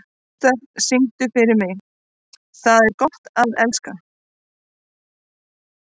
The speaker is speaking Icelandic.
Gústaf, syngdu fyrir mig „Tað er gott at elska“.